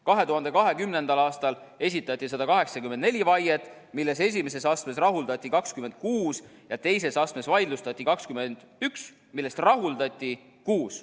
2020. aastal esitati 184 vaiet, millest esimeses astmes rahuldati 26 ja teises astmes vaidlustati 21, millest rahuldati kuus.